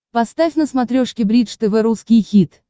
поставь на смотрешке бридж тв русский хит